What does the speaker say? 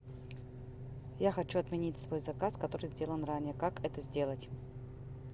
я хочу отменить свой заказ который сделан ранее как это сделать